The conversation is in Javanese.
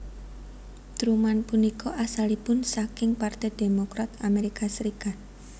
Truman punika asalipun saking Parte Demokrat Amerika Serikat